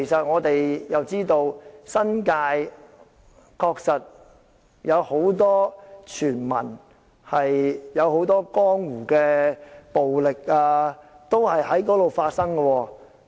我們知道，新界確實有很多傳聞，有很多江湖的暴力也在那裏發生。